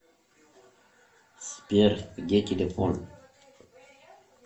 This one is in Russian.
сбер где телефон